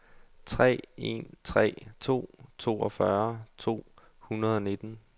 tre en tre to toogfyrre to hundrede og nitten